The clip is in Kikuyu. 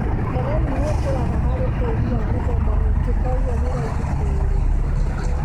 Terere nĩ ũkũraga harĩ tĩĩri wa mĩthemba mĩingĩ, kogwo nĩ raithi kũũrĩma.